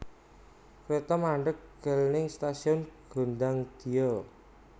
Kreto mandheg gel ning stasiun Gondangdia